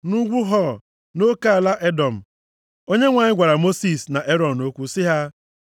Nʼugwu Hor, nʼoke ala Edọm, Onyenwe anyị gwara Mosis na Erọn okwu sị ha,